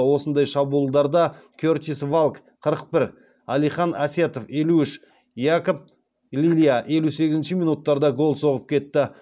осындай шабуылдарда кертис валк қырық бір әлихан әсетов елу үш якоб лилья елу сегізінші минуттарда гол соғып кетті